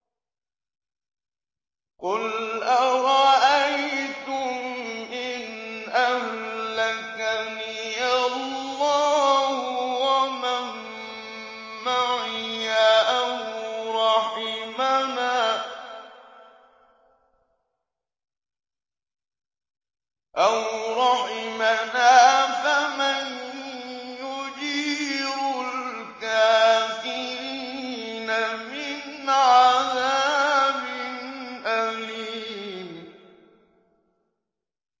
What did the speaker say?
قُلْ أَرَأَيْتُمْ إِنْ أَهْلَكَنِيَ اللَّهُ وَمَن مَّعِيَ أَوْ رَحِمَنَا فَمَن يُجِيرُ الْكَافِرِينَ مِنْ عَذَابٍ أَلِيمٍ